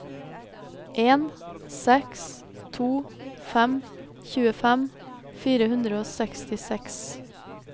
en seks to fem tjuefem fire hundre og sekstiseks